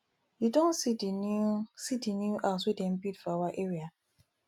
you don see the new see the new house wey dem build for our area